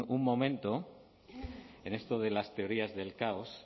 un momento en esto de las teorías del caos